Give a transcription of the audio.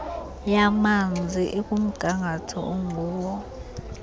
yamanzi ikumgangatho onguwo